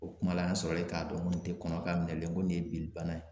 O kuma la, an sɔrɔlen k'a dɔn ko nin tɛ kɔnɔ ka minɛ, n ko nin ye binni bana ye.